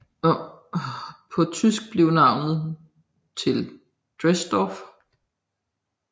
På tysk blev navnet til Drelsdorf